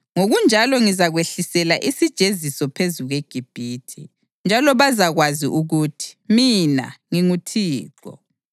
Ngokunjalo ngizakwehlisela isijeziso phezu kweGibhithe, njalo bazakwazi ukuthi mina nginguThixo.’ ”